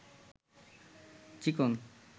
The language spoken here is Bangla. চিকন